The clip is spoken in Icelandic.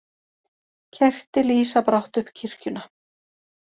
Kerti lýsa brátt upp kirkjuna